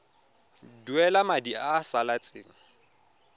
duela madi a a salatseng